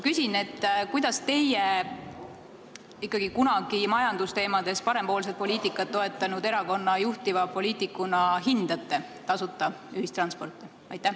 Kuidas teie kui kunagi majandusteemades parempoolset poliitikat toetanud erakonna juhtivpoliitik hindate tasuta ühistransporti?